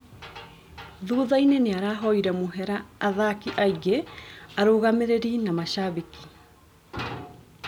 Thuthainĩ nĩarahoire mũhera athaki angĩ, arũgamĩrĩri na mashambĩki.